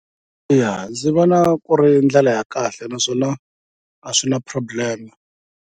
Ya ndzi vona ku ri ndlela ya kahle naswona a swi na problem.